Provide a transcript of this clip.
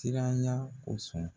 Siranya kosɔn